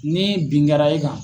Ni bin kɛra e kan